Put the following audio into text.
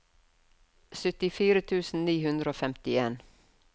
syttifire tusen ni hundre og femtien